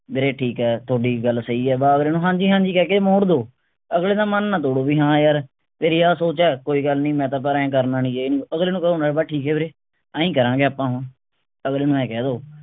ਵੀਰੇ ਠੀਕ ਹੈ ਥੋਡੀ ਗੱਲ ਸਹੀ ਹੈ ਬਸ ਅਗਲੇ ਨੂੰ ਹਾਂਜੀ ਹਾਂਜੀ ਕਹਿ ਕੇ ਮੋੜ ਦੋ ਅਗਲੇ ਦਾ ਮਨ ਨਾ ਤੋੜੋ ਵੀ ਹਾਂ ਯਾਰ ਤੇਰੀ ਆਹ ਸੋਚ ਹੈ ਕੋਈ ਗੱਲ ਨਹੀਂ ਮੈਂ ਤਾਂ ਪਰ ਆਏਂ ਕਰਨਾ ਨਹੀਂ ਅਗਲੇ ਨੂੰ ਕਹੋ ਨਾ ਬਸ ਠੀਕ ਆ ਵੀਰੇ ਆਈਂ ਕਰਾਂਗੇ ਆਪਾਂ ਹੁਣ ਅਗਲੇ ਨੂੰ ਆਏਂ ਕਹਿ ਦੋ